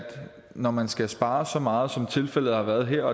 når man skal spare så meget som tilfældet har været her